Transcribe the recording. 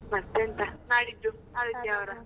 ಮತ್ತೆಂತ ನಾಡಿದ್ದು ಆದಿತ್ಯವಾರ.